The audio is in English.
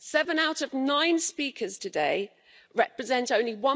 Seven out of nine speakers today represent only